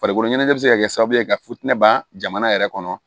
Farikolo ɲɛnajɛ bɛ se ka kɛ sababu ye ka futinɛ yɛrɛ kɔnɔ